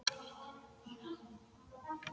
Jæja, Sunna, segir hann.